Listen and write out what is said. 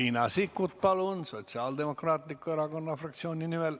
Riina Sikkut Sotsiaaldemokraatliku Erakonna fraktsiooni nimel.